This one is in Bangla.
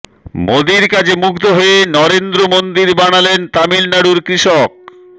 মোদীর কাজে মুগ্ধ হয়ে নরেন্দ্র মন্দির বানালেন তামিলনাড়ুর কৃষক